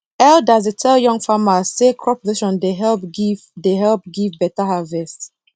elders dey tell young farmers say crop rotation dey help give dey help give better harvest